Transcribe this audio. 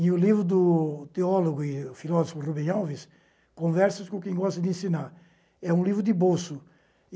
E o livro do teólogo e filósofo Rubem Alves, Conversas com quem gosta de ensinar, é um livro de bolso.